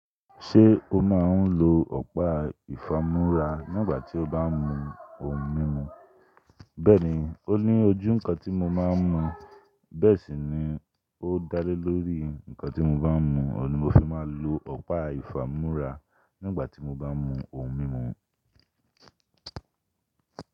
Ṣé o máa ń lo ọ̀pá ìfámú́ra nígbà tí o bá ń mu ohun mímu? Bẹ́ẹ̀ni, ó ní ojú nǹkan tí mo máa ń mu, bẹ́ẹ̀ sì ni ó dálé lórí nǹkan tí mo bá ń mu. Òun ni mo fi máa ń lo ọ̀pá ìfámú́ra nígbà tí mo bá ń mu ohun mímu.